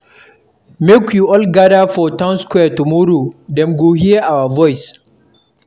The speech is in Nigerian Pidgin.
Make we all gather for town square tomorrow, dem go hear our voice.